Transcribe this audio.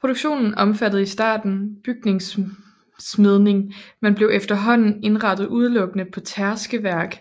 Produktionen omfattede i starten bygningssmedning men blev efterhånden indrettet udelukkende på tærskeværk